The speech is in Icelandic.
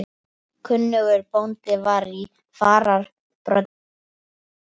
Kunnugur bóndi var í fararbroddi og sagði fyrir.